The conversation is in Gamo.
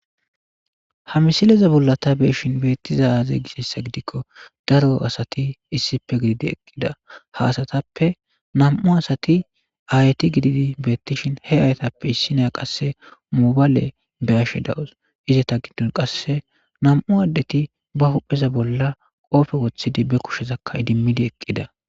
Ha misileza bolla ta beeshin beettiza aaze gisessa gidikko daro asati issipe gididi eqqida haasatappe nam7u asati ayti gididi beettishin he ayatappe issi nea qasse moobaale be ashe dawus izeta giddon qasse nam'u addeti ba hupheza bolla qoofe wothidi be kushezakka idimmidi eqqida.